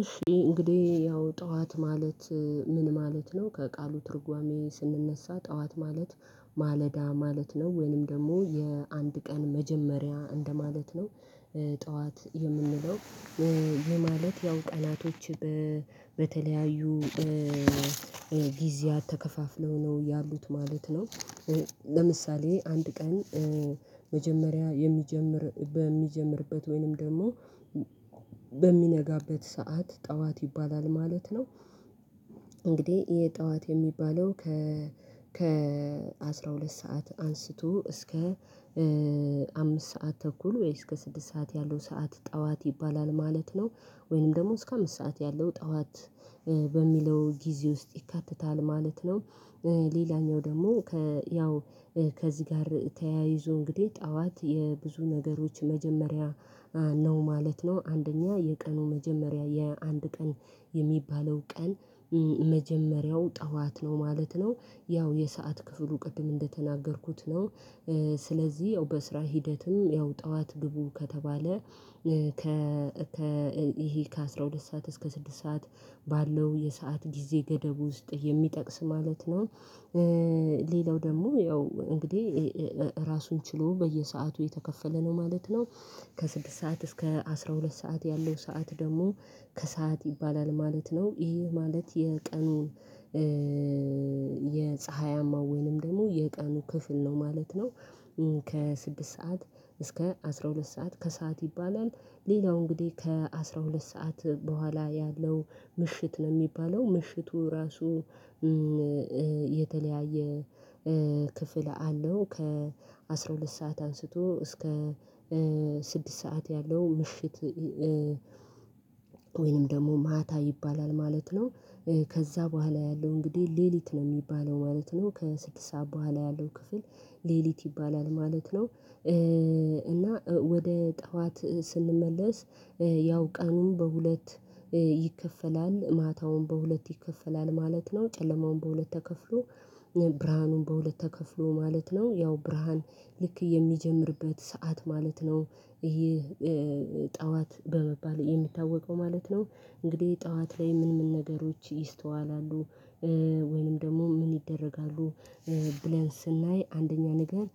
እሺ እንግዲህ ያው ጠዋት ማለት ምን ማለት ነው ከቃሉ ትርጓሜ ስንነሳ ጠዋት ማለት ማለዳ ማለት ነው ወይንም ደግሞ የአንድ ቀን መጀመሪያ እንደማለት ነው። ጠዋት የምንለው ይህ ማለት ያው ቀናቶች በተለያዩ ጊዚያት ተከፋፍለው ነው ያሉት ማለት ነው። ለምሳሌ አንድ ቀን መጀመሪያ የሚጀምር በሚጀምርበት ወይንም ደግሞ በሚነጋበት ሰዓት ጠዋት ይባላል ማለት ነው። እንግዲህ ይህ ጠዋት የሚባለው ከ አስራ ሁለት ሰዓት አንስቶ እስከ አምስት ሰዓት ተኩል ወይ እስከ ስድስት ሰዓት ያለው ሰዓት ጠዋት ይባላል ማለት ነው። ወይንም ደግሞ እስከ አምስት ሰዓት ያለው ጠዋት በሚለው ጊዜ ውስጥ ይካተታል ማለት ነው። ሌላኛው ደግሞ ያው ከዚህ ጋር ተያይዞ እንግዲህ ጠዋት የብዙ ነገሮች መጀመሪያ ነው ማለት ነው። አንደኛ የቀኑ መጀመሪያ የአንድ ቀን የሚባለው ቀን መጀመሪያው ጠዋት ነው ማለት ነው ያው የሰዓት ክፍሉ ቅድም እንደተናገርኩት ነው። ስለዚህ ያው በስራ ሂደትም ያው ጠዋት ግቡ ከተባለ ይሄ ከአሥራ ሁለት ሰዓት እስከ ስድስት ሰዓት ባለው የሰዓት ጊዜ ገደብ ውስጥ የሚጠቅስ ማለት ነው። ሌላው ደግሞ ያው እንግዲህ ራሱን ችሎ በየሰአቱ የተከፈለ ነው ማለት ነው። ከስድስት ሰዓት እስከ አስራ ሁለት ሰዓት ያለው ሰዓት ደግሞ ከሰአት ይባላል ማለት ነው ይሄ ማለት የቀኑን የፀሀያማ ወይንም ደግሞ የቀኑ ክፍል ነው ማለት ነው። ከስድስት ሰዓት እስከ አስራ ሁለት ሰዓት ከሰአት ይባላል። ሌላው እንግዲህ ከአሥራ ሁለት ሰዓት በኋላ ያለው ምሽት ነው የሚባለው ምሽቱ ራሱ የተለያየ ክፍል አለው ከ አስራ ሁለት ሰዓት አንስቶ እስከ ስድስት ሰዓት ያለው ምሽት ወይንም ደግሞ ማታ ይባላል ማለት ነው። ከዛ በኋላ ያለው እንግዲህ ሌሊት ነው የሚባለው ማለት ነው ከስድስት ሰዓት በኋላ ያለው ክፍል ሌሊት ይባላል ማለት ነው። እና ወደ ጠዋት ስንመለስ ያው ቀኑን በሁለት ይከፈላል ማታውን በሁለት ይከፈላል ማለት ነው ጨለማውን በሁለት ተከፍሎ ብርሃኑን በሁለት ተከፍሎ ማለት ነው ያው ብርሃን ልክ የሚጀምርበት ሰዓት ማለት ነው ይህ ጠዋት በመባል የሚታወቀው ማለት ነው። እንግዲህ ጠዋት ላይ ምን ምን ነገሮች ይስተዋላሉ? ወይንም ደግሞ ምን ይደረጋሉ? ብለን ስናይ አንደኛ ነገር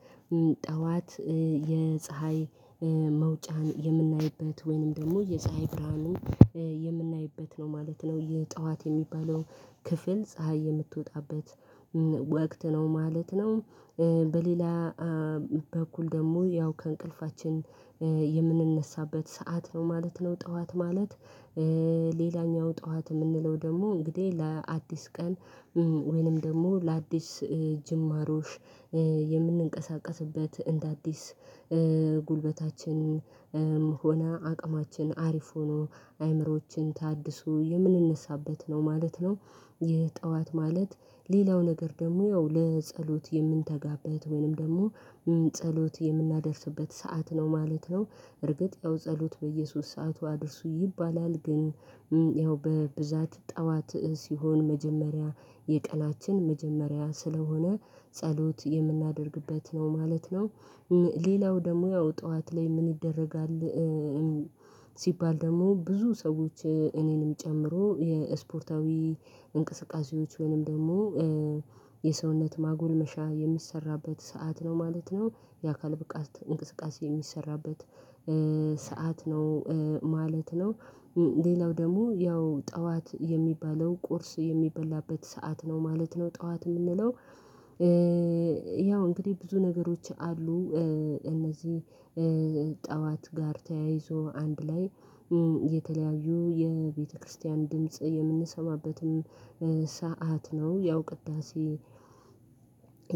ሌላው ደግሞ ያው እንግዲህ ራሱን ችሎ በየሰአቱ የተከፈለ ነው ማለት ነው ከስድስት ሰዓት እስከ አስራ ሁለት ሰዓት ያለው ሰዓት ደግሞ ከሰአት ይባላል ማለት ነው። ይሄ ማለት የቀኑን በሌላ በኩል ደግሞ ያው ከእንቅልፋችን የምንነሳበት ሰዓት ነው ማለት ነው። ጠዋት ማለት ሌላኛው ጠዋት የምንለው ደግሞ እንግዲህ ለአዲስ ቀን ወይንም ደግሞ ለአዲስ ጅማሮ የምንቀሳቀስበት እንደ አዲስ ጉልበታችን ሆና አቅማችን አሪፍ ሆኖ አይምሮዋችን ታድሶ የምንነሳበት ነው ማለት ነው። ይህ ጠዋት ማለት ሌላው ነገር ደግሞ ያው ለጸሎት የምንተጋበት ወይንም ደግሞ ጸሎት የምናደርስበት ሰዓት ነው ማለት ነው። እርግጥ ያው ጸሎት በየሶስት ሰዓቱ አድርሱ ይባላል ግን ያው በብዛት ጠዋት ሲሆን መጀመሪያ የቀናችን መጀመሪያ ስለሆነ ጸሎት የምናደርግበት ነው ማለት ነው። ሌላው ደግሞ ያው ጠዋት ላይ ምን ይደረጋል ሲባል ደግሞ ብዙ ሰዎች እኔንም ጨምሮ የስፖርታዊ እንቅስቃሴዎች ወይም ደግሞ የሰውነት ማጎልመሻ የሚሰራበት ሰዓት ነው ማለት ነው። የአካል ብቃት እንቅስቃሴ የሚሰራበት ሰዓት ነው ማለት ነው። ሌላው ደግሞ ያው ጠዋት የሚባለው ቁርስ የሚበላበት ሰዓት ነው ማለት ነው። ጠዋት የምንለው ያው እንግዲህ ብዙ ነገሮች አሉ እነዚህ ጠዋት ጋር ተያይዞ አንድ ላይ የተለያዩ የቤተክርስቲያን ድምጽ የምንሰማበትም ሰዓት ነው ያው ቅዳሴ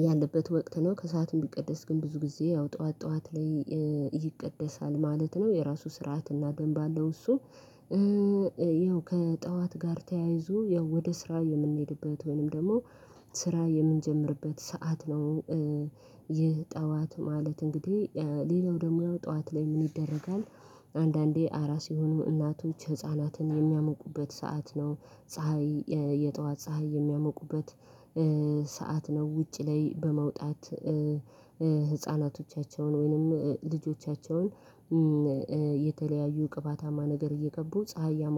ያለበት ወቅት ነው። ከሰአትም ቢቀደስ ግን ብዙ ጊዜ ያው ጠዋት ጠዋት ላይ ይቀደሳል ማለት ነው የራሱ ስርዓት እና ደንብ አለው እሱ ያው ከጠዋት ጋር ተያይዞ ያው ወደ ስራ የምንሄድበት ወይንም ደግሞ ስራ የምንጀምርበት ሰዓት ነው። ይህ ጠዋት ማለት እንግዲህ ሌላው ደግሞ ጠዋት ላይ ምን ይደረጋል? አንዳንዴ አራስ የሆኑ እናቶች ህፃናትን የሚያሞቁበት ሰዓት ነው ፀሀይ የጠዋት ፀሀይ የሚያሞቁበት ሰዓት ነው ውጪ ላይ በመውጣት ህፃናቶቻቸውን ወይንም ልጆቻቸውን የተለያዩ ቅባታማ ነገር እየቀቡ ፀሀይ